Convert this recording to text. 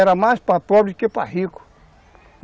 Era mais para pobre do que para rico.